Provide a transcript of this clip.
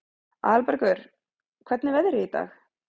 Aðalbergur, hvernig er veðrið í dag?